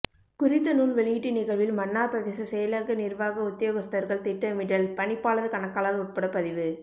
குறித்த நூல் வெளியீட்டு நிகழ்வில் மன்னார் பிரதேச செயலக நிர்வாக உத்தியோகஸ்தர்கள் திட்டமிடல் பணிப்பாளர் கணக்காளர் உட்பட பதிவு